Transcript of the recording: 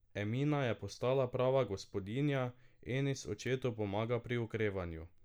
Emina je postala prava gospodinja, Enis očetu pomaga pri okrevanju.